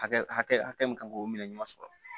Hakɛ hakɛ min kan k'o minɛ ɲuman sɔrɔ